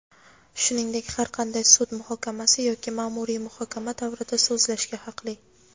shuningdek har qanday sud muhokamasi yoki maʼmuriy muhokama davrida so‘zlashga haqli.